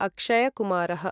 अक्षय् कुमारः